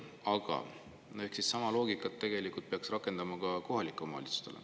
Aga sama loogikat peaks tegelikult rakendama ka kohalike omavalitsuste puhul.